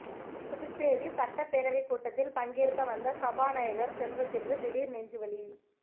புதுச்சேரி சட்டப்பேரவை கூட்டத்தில் பங்கேற்க வந்த சபாநாயகர் செல்வத்திற்கு திடீர் நெஞ்சுவலி